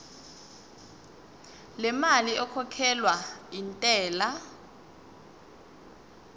lemali ekhokhelwa intela